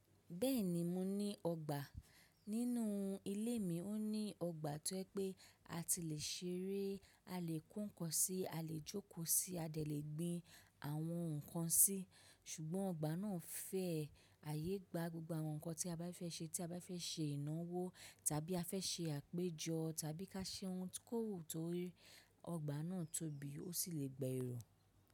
Bẹ́ẹ̀ni mo ní ọgbà. Nínú ilé mi ó ní ọgbà tó ẹ pé a ti lè ṣeré, a lè ko nǹkan sí, a lè jókòó sí, a lè gbin àwọn nǹkan sí. Ṣùgbọ́n ọgbà náà fẹ̀ àyegbà gbogbo àwọn nǹkan tí a bá fẹ́ ṣe tí a bá fẹ́ ṣe ìnáwó tàbí a fẹ́ ṣe àpéjọ tàbí ká ṣe ohun tí kò wù tó tí ọgbà náà tóbi, ó sì lè gba èrò.